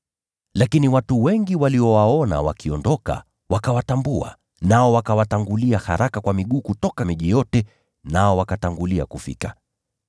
Lakini watu wengi waliowaona wakiondoka, wakawatambua, nao wakaenda haraka kwa miguu kutoka miji yote, nao wakatangulia kufika.